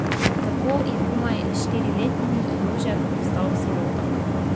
Tako je komaj štiriletni Jožef postal sirota.